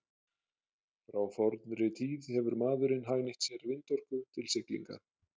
frá fornri tíð hefur maðurinn hagnýtt sér vindorku til siglinga